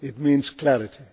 It means clarity.